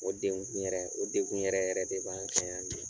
O denkun yɛrɛ o denkun yɛrɛ yɛrɛ de b'an fɛ yan bi.